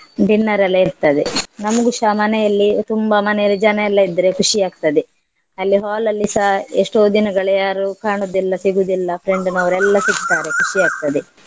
Dinner ರೆಲ್ಲ ಇರ್ತದೆ ನಮ್ಗುಸ ಮನೆಯಲ್ಲಿ ತುಂಬಾ ಮನೆಯಲ್ಲಿ ಜನ ಎಲ್ಲ ಇದ್ರೆ ಖುಷಿ ಆಗ್ತದೆ. ಅಲ್ಲಿ hall ಅಲ್ಲಿಸಾ ಎಸ್ಟೋ ದಿನಗಳು ಯಾರು ಕಾಣುದಿಲ್ಲ ಸಿಗುದಿಲ್ಲ friend ನವರೆಲ್ಲ ಸಿಗ್ತಾರೆ ಖುಷಿ ಆಗ್ತದೆ.